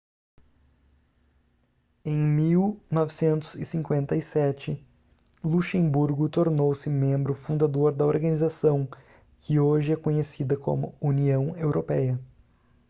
em 1957 luxemburgo tornou-se membro fundador da organização que hoje é conhecida como união europeia